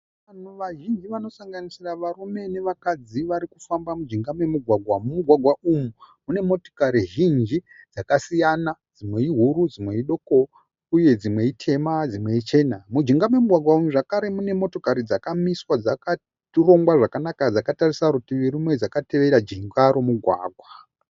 Vanhu vazhinji vanosanganisira varume nevakadzi vari kufamba mujinga memugwagwa. Mumugwagwa umu mune motikari zhinji dzakasiyana, dzimwe ihuru, dzimwe idoko uye dzimwe itema, dzimwe ichena. Mujinga memugwagwa umu zvakare mune motokari dzakamiswa dzakarongwa zvakana dzakatarisa rutivi rumwe, dzakatevera jinga remugwagwa.